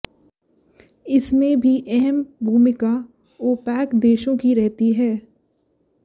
इसमें भी अहम् भूमिका ओपेक देशों की रहती थी